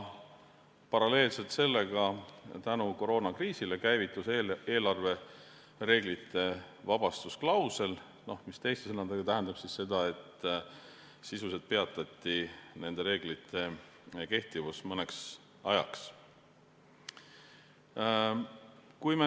Paralleelselt sellega käivitus koroonakriisi tõttu eelarvereeglite vabastusklausel, mis teiste sõnadega tähendab seda, et sisuliselt peatati nende reeglite kehtivus mõneks ajaks.